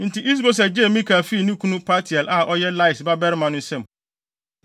Enti Is-Boset gyee Mikal fii ne kunu Paltiel a ɔyɛ Lais babarima no nsam.